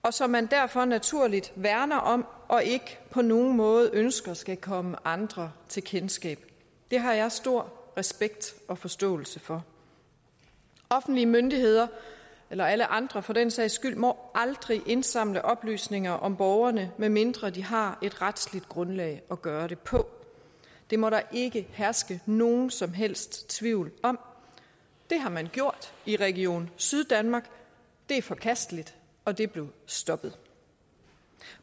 og som man derfor naturligt værner om og ikke på nogen måde ønsker skal komme andre til kendskab det har jeg stor respekt og forståelse for offentlige myndigheder eller alle andre for den sags skyld må aldrig indsamle oplysninger om borgerne medmindre de har et retsligt grundlag at gøre det på det må der ikke herske nogen som helst tvivl om det har man gjort i region syddanmark det er forkasteligt og det er blevet stoppet